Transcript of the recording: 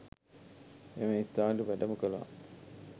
එම ස්ථානයට වැඩම කළා.